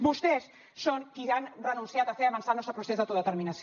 vostès són qui han renunciat a fer avançar el nostre procés d’autodeterminació